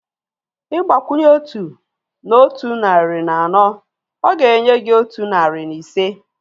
Ịgbakwunye otu na otu narị na anọ, ọ ga-enye gị otu narị na ise